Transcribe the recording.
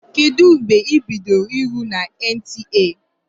Kedụ mgbe ị bidoro ịrụ na NTA?